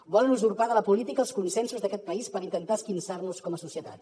volen usurpar de la política els consensos d’aquest país per intentar esquinçar nos com a societat